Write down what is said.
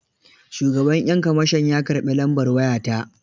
Shugaban 'yan kamashon ya karɓi lambar waya ta.